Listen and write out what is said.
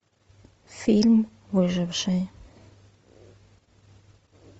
фильм выживший